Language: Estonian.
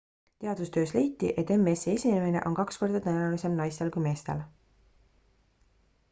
teadustöös leiti et ms-i esinemine on kaks korda tõenäolisem naistel kui meestel